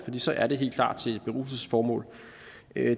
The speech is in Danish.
så er det helt klart til beruselsesformål